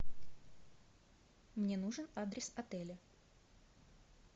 мне нужен адрес отеля